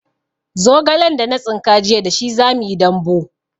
Zogalen da na tsinka jiya da shi zamuyi dambu